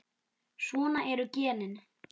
Svona eru genin.